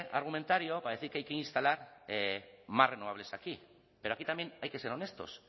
argumentario para decir que hay que instalar más renovables aquí pero aquí también hay que ser honestos